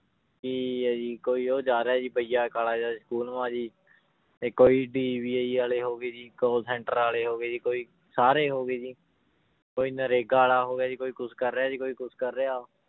ਕੀ ਆ ਜੀ ਕੋਈ ਉਹ ਜਾ ਰਿਹਾ ਸੀ ਭਈਆ ਕਾਲਾ ਜਿਹਾ school ਕੋਈ ਵਾਲੇ ਹੋ ਗਏ ਜੀ call center ਵਾਲੇ ਹੋ ਗਏ ਜੀ, ਕੋਈ ਸਾਰੇ ਹੋ ਗਏ ਜੀ ਕੋਈ ਨਰੇਗਾ ਵਾਲਾ ਹੋ ਗਿਆ ਜੀ ਕੋਈ ਕੁਛ ਕਰ ਰਿਹਾ ਜੀ ਕੋਈ ਕੁਛ ਕਰ ਰਿਹਾ